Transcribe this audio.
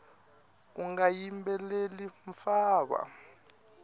unga yimbeleli mfava